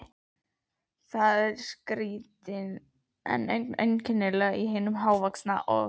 Það skríkti ögn einkennilega í hinum hávaxna, og